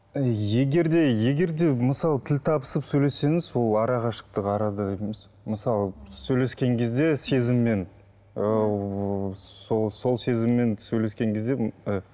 егер де егер де мысалы тіл табысып сөйлессеңіз ол арақашықтық арада емес мысалы сөйлескен кезде сезіммен ыыы сол сол сезіммен сөйлескен кезде